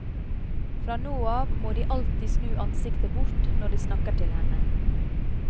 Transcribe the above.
Fra nå av må de alltid snu ansiktene bort når de snakker til henne.